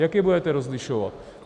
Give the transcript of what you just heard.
Jak je budete rozlišovat?